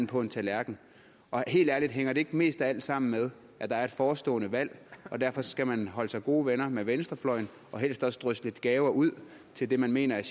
på en tallerken helt ærligt hænger det ikke mest af alt sammen med at der er et forestående valg og derfor skal man holde sig gode venner med venstrefløjen og helst også drysse lidt gaver ud til dem man mener er